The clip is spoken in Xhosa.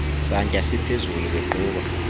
santya siphezulu beqhuba